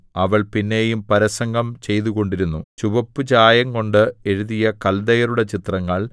അവൾ പിന്നെയും പരസംഗം ചെയ്തുകൊണ്ടിരുന്നു ചുവപ്പുചായംകൊണ്ട് എഴുതിയ കല്ദയരുടെ ചിത്രങ്ങൾ